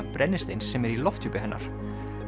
brennisteins sem er í lofthjúpi hennar